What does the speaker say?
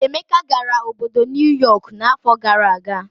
Emeka gara obodo Nuyọk n'afọ gara aga.